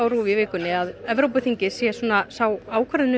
RÚV í vikunni að Evrópuþingið sé sá